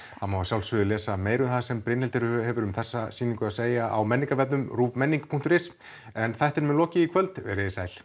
það má að sjálfsögðu lesa meira um það sem Brynhildur hefur um þessa sýningu að segja á menningarvefnum ruvmenning punktur is en þættinum er lokið í kvöld veriði sæl